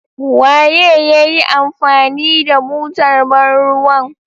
Waye ya yi amfani da butar ban ruwan.